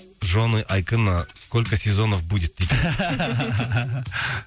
жены айкына сколько сезонов будет дейді